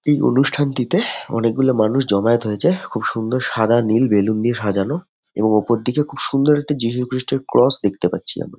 এই অনুষ্ঠানটিতে অনেক গুলো মানুষ জমায়েত হয়েছে খুব সুন্দর সাদা নীল বেলুন দিয়ে সাজানো এবং ওপর দিকে খুব সুন্দর একটি যীশু খ্রীষ্টের ক্রস দেখতে পাচ্ছি আমি।